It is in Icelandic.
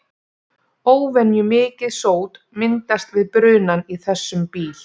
Óvenjumikið sót myndast við brunann í þessum bíl.